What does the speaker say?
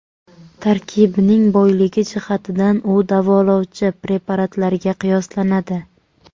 Tarkibining boyligi jihatidan u davolovchi preparatlarga qiyoslanadi.